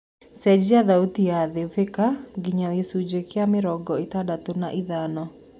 cenjĩa thaũtĩ ya thibika nginya gĩcunji gĩa mĩrongo ĩtandatũ na ithano